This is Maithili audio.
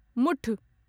मुठ